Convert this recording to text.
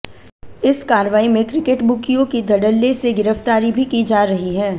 इस कार्रवाई में क्रिकेट बुकियों की धड़ल्ले से गिरफ्तारी भी की जा रही है